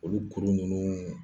Olu kuru ninnu